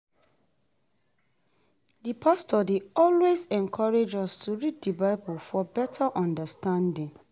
Di pastor dey always encourage us to read di Bible for better understanding.